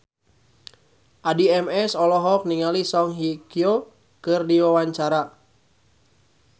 Addie MS olohok ningali Song Hye Kyo keur diwawancara